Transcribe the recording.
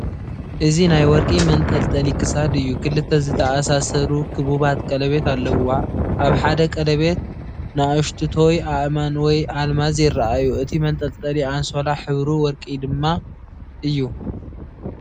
እዚ ናይ ወርቂ መንጠልጠሊ ክሳድ እዩ። ክልተ ዝተኣሳሰሩ ክቡባት ቀለቤት ኣለዉዎ። ኣብ ሓደ ቀለቤት ንኣሽቱቶይ ኣእማን ወይ ኣልማዝ ይረኣዩ። እቲ መንጠልጠሊ ኣንሶላ ሕብሩ ወርቂ ድማ እዩ።